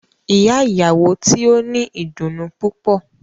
Iya iyawo ti o ni idunnu pupọ